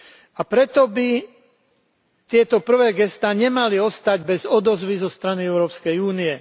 A preto by tieto prvé gestá nemali ostať bez odozvy zo strany Európskej únie.